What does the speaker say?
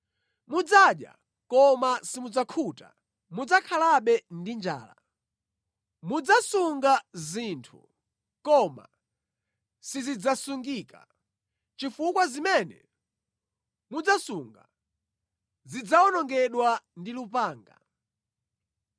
Mudzadya, koma simudzakhuta; mudzakhalabe ndi njala. Mudzasunga zinthu, koma sizidzasungika, chifukwa zimene mudzasunga zidzawonongedwa ndi lupanga.